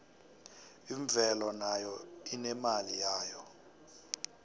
imvelo nayo inemali yayo